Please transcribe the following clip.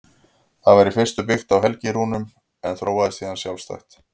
Það var í fyrstu byggt á helgirúnunum en þróaðist síðan sjálfstætt.